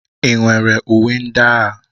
Ị nwere uwe ndị agha?